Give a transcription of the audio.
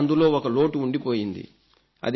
అయితే అందులో ఒక లోటు ఉండిపోయింది